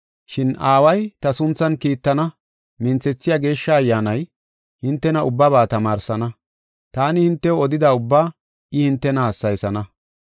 Shin Aaway ta sunthan kiittana minthethiya Geeshsha Ayyaanay, hintena ubbaba tamaarsana. Taani hintew odida ubbaa I hintena hassayisana.